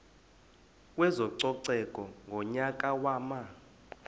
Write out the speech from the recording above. kwezococeko ngonyaka wama